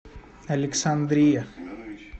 александрия